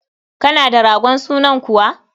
Kana da ragon sunan kuwa?